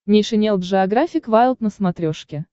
нейшенел джеографик вайлд на смотрешке